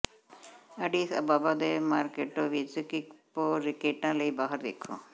Addis Ababa ਦੇ Merkato ਵਿੱਚ ਕਿਕਪੋਕੈਟਾਂ ਲਈ ਬਾਹਰ ਵੇਖੋ